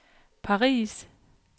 Paris